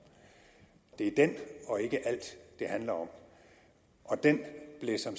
det er den og ikke alt det handler om og den blev som